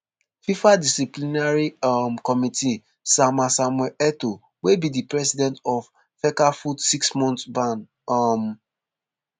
fifa disciplinary um committee sama samuel etoo wey be di president of fecafoot six months ban um